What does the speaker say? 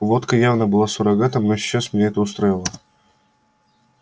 водка явно была суррогатом но сейчас меня это устраивало